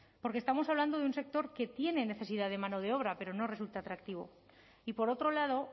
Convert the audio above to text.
porque estamos hablando de un sector que tiene necesidad de mano de obra pero no resulta atractivo y por otro lado